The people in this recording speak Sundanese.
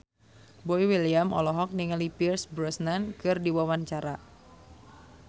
Boy William olohok ningali Pierce Brosnan keur diwawancara